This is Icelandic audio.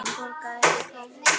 Hann borgaði ekki krónu.